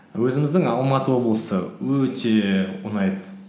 өзіміздің алматы облысы өте ұнайды